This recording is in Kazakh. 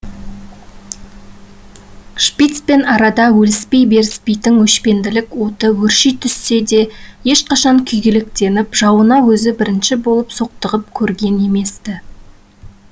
шпицпен арада өліспей беріспейтін өшпенділік оты өрши түссе де ешқашан күйгелектеніп жауына өзі бірінші болып соқтығып көрген емес ті